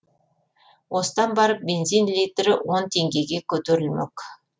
осыдан барып бензин литрі он теңгеге көтерілмек